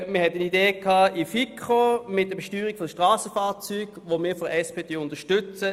Man hatte in der FiKo eine Idee mit der Besteuerung der Strassenfahrzeuge, die wir vonseiten der SP unterstützen.